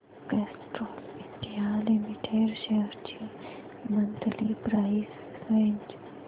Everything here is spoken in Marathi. कॅस्ट्रॉल इंडिया लिमिटेड शेअर्स ची मंथली प्राइस रेंज